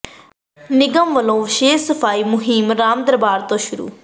ਨਿਗਮ ਵੱਲੋਂ ਵਿਸ਼ੇਸ਼ ਸਫ਼ਾਈ ਮੁਹਿੰਮ ਰਾਮ ਦਰਬਾਰ ਤੋਂ ਸ਼ੁਰੂ